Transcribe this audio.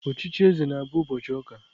Ochichi eze na-bụ ụbọchị ụka.